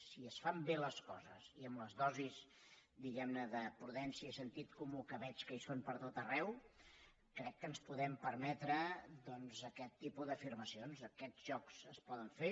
si es fan bé les coses i en les dosis diguemne de prudència i sentit comú que veig que hi són pertot arreu crec que ens podem permetre doncs aquest tipus d’afirmacions aquests jocs es poden fer